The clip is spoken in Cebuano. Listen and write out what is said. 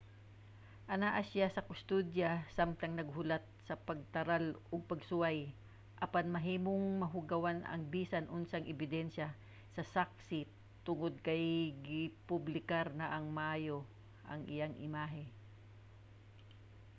anaa siya sa kustodiya samtang naghulat sa pagtaral og pagsuway apan mahimong mahugawan ang bisan unsang ebidensya sa saksi tungod kay gipublikar na nga maayo ang iyahang imahe